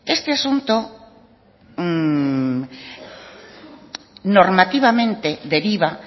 este asunto normativamente deriva